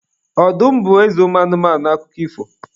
Ọdụm bụ eze ụmụ anụmanụ n'akụkọ ifo.